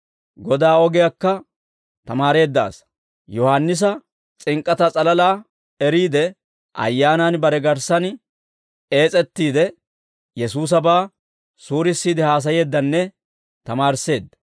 Godaa ogiyaakka tamaareedda asaa; Yohaannisa s'ink'k'ataa s'alalaa eriide, ayyaanan bare garssan ees'ettiidde, Yesuusabaa suurissiide haasayeeddanne tamaarisseedda.